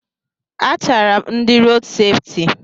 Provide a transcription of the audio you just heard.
A chaara m ndị rood sefti.